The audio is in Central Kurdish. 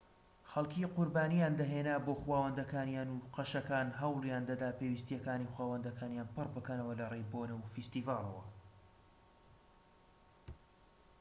خەلکی قوربانییان دەهێنا بۆ خوداوەندەکانیان و قەشەکان هەوڵیان دەدا پێویستیەکانی خوداوەندەکان پڕ بکەنەوە لەڕێی بۆنە و فیستیڤاڵەوە